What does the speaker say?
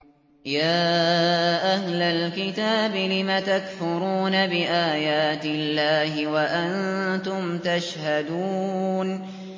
يَا أَهْلَ الْكِتَابِ لِمَ تَكْفُرُونَ بِآيَاتِ اللَّهِ وَأَنتُمْ تَشْهَدُونَ